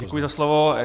Děkuji za slovo.